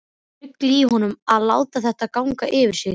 Ruglið í honum að láta þetta ganga yfir sig.